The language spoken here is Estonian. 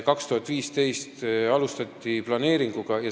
2015. aastal alustati planeeringu tegemist.